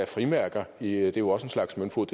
frimærker det er jo også en slags møntfod